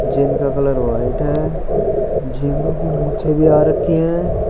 जिनका colour white है झींगे की मुछे भी आ रखी हैं।